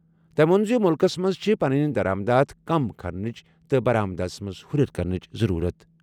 تٔمۍ ووٚن زِ مُلکَس منٛز چھِ پنٕنۍ درآمدات کم کرنٕچ تہٕ برآمدَس منٛز ہُرٮ۪ر کرنٕچ ضروٗرت۔